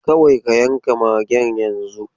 Kawai ka yanka magen yanzu!